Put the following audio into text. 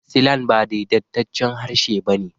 Silan ba daidaitaccen harshe ba ne.